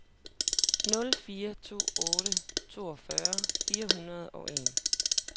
nul fire to otte toogfyrre fire hundrede og en